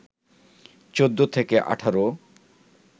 ১৪ থেকে ১৮